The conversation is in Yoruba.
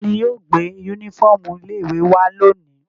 Ta ni yóò gbé únífọ́ọ́mù ilé-ìwé wá lónìí?